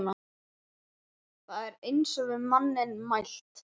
Það er eins og við manninn mælt.